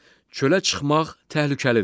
Çölə çıxmaq təhlükəlidir.